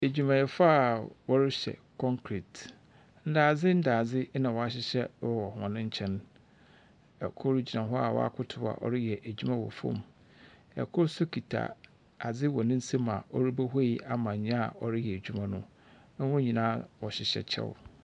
Adwumayɛfo a wɔrehyɛ kɔnkret. Ndaadze ndaadze ɔahyehyɛ wɔ hɔn nktɛn. Kor gyina hɔ a ɔakotow a ɔreyɛ adwuma wɔ fam. Kor nso kita adze wɔ ne nsam a ɔrekohwei ama nea ɔreyɛ adwuma no. Hɔn nyinaa hyehyɛ kyɛw.